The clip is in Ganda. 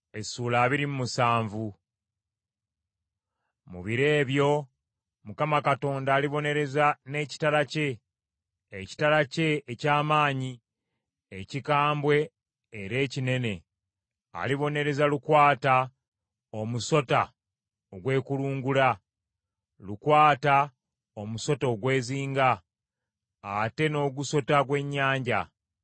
Mu biro ebyo, Mukama Katonda alibonereza n’ekitala kye, ekitala kye eky’amaanyi, ekikambwe era ekinene, alibonereza Lukwata omusota ogwekulungula, Lukwata omusota ogwezinga, atte n’ogusota gw’ennyanja.